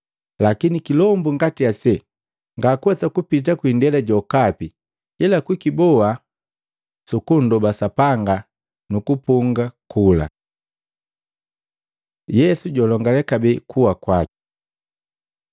Lakini kilombu ngati ase ngakuwesa kupita kwindela jokapi ila kukiboa ila sukundoba Sapanga nukupunga kula.” Yesu julongale kabee kuwa kwaki Maluko 9:30-32; Luka 9:43b-45